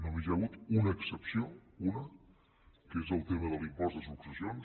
només hi ha hagut una excepció una que és el tema de l’impost de successions